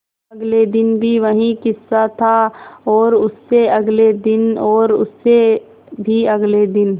अगले दिन भी वही किस्सा था और उससे अगले दिन और उससे भी अगले दिन